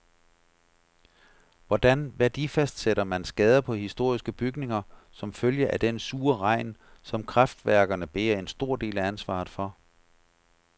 Hvordan værdifastsætter man skader på historiske bygninger som følge af den sure regn, som kraftværkerne bærer en stor del af ansvaret for?